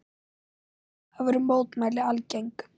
Eftir það voru mótmæli algeng.